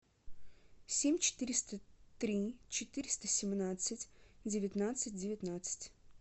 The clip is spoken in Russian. семь четыреста три четыреста семнадцать девятнадцать девятнадцать